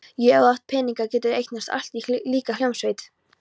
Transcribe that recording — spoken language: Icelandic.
Jú, ef þú átt peninga, geturðu eignast allt, líka hljómsveit